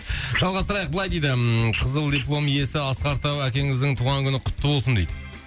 жалғастырайық былай дейді ммм қызыл диплом иесі асқар тау әкеңіздің туған күні құтты болсын дейді